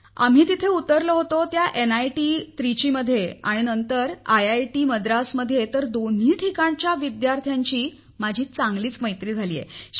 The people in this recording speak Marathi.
आम्ही तेथे उतरलो होतो त्या एनआयटी त्रिचीमध्ये नंतर आयआयटी मद्रासमध्ये तर दोन्ही ठिकाणच्या विद्यार्थ्यांशी माझी चांगली मैत्री झाली आहे